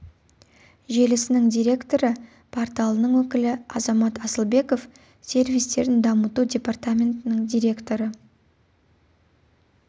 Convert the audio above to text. желісінің директоры порталының өкілі азамат асылбеков сервистерін дамыту департаментінің директоры